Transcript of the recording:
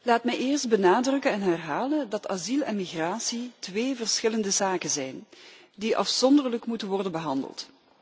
Laat me eerst benadrukken en herhalen dat asiel en migratie twee verschillende zaken zijn, die afzonderlijk moeten worden behandeld.